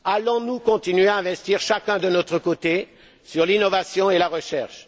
Allons nous continuer à investir chacun de notre côté dans l'innovation et la recherche?